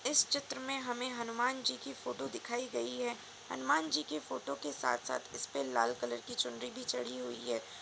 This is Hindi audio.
इस चित्र में हमें हनुमानजी की फोटो दिखाई गई है। हनुमानजी की फोटो के साथ-साथ इस पे लाल कलर की चुनरी भी चढ़ी हुई है।